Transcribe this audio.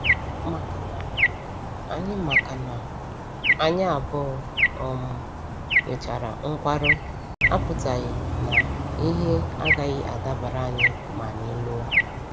Makana, anyị Makana, anyị abụọ um nwechara nkwarụ apụtaghị na ihe agaghị adabara anyị ma anyị lụọ.